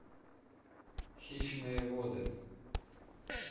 хищные воды